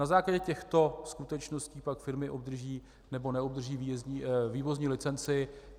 Na základě těchto skutečností pak firmy obdrží nebo neobdrží vývozní licenci.